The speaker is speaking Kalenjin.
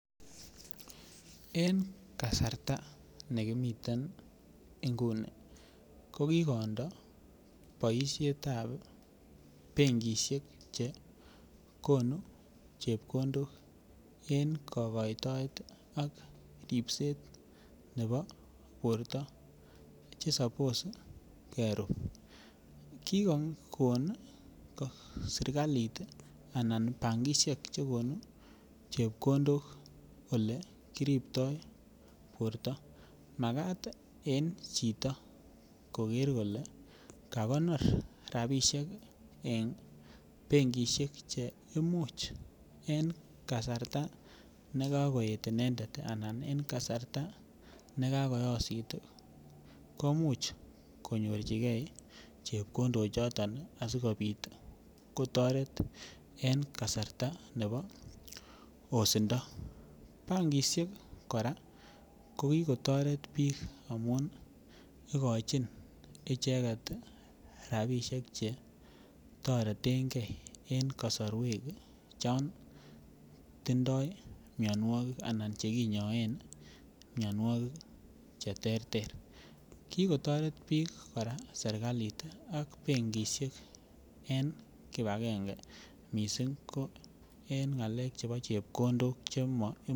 En kasarta ne kimiten ngunii ko kikondo boishetab benkishek che konu chepkondok en kogoitoet ak ribset nebo borto che sapos kerub kikogon serkalit anan bankishek che konu chepkondok ole kiribto borto makat en chito koger kolee kakonor rabishek en benkishek che imuch en kasarta ne kakoet inendet anan en kasarta ne kakoyosit komuch konyorjigee chepkondok choton asikopit kotoret en kasarta nebo yosindo. bankishek koraa ko kigotoret biik amun igochin icheget rabishek che toretengee en kosorwek chon tindoi mionwokik anan che kinyoen mionwokik che terter, kikotoret biik koraa serkalit ak benkishek en kibangenge missing ko en ngalek chebo chepkondok che mo